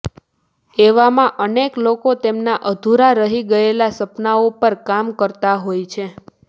એવામાં અનેક લોકો તેમના અધૂરા રહી ગયેલા સપનાઓ પર કામ કરતા હોય છે